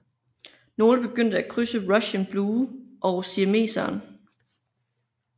Nogle begyndte at krydse Russian Blue og Siameseren